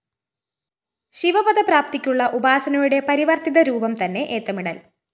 ശിവപദപ്രാപ്തിയ്ക്കുള്ള ഉപാസനയുടെ പരിവര്‍ത്തിതരൂപംതന്നെ ഏത്തമിടല്‍